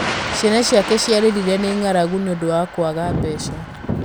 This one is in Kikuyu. ciana ciake ciaririre ni ng'aragu nĩ ũndũ wa kwaga mbeca